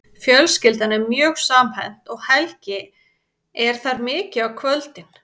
Fjölskyldan er mjög samhent og Helgi er þar mikið á kvöldin.